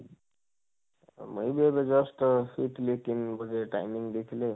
ମୁଇଁ ବି just ଶୋଇଥିଲି ତିନ ବଜେ time ଦେଖିଲି